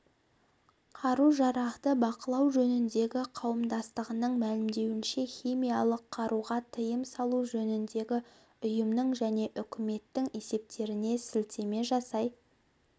қару-жарақты бақылау жөніндегі қауымдастығының мәлімдеуінше химиялық қаруға тыйым салу жөніндегі ұйымның және үкіметінің есептеріне сілтеме жасай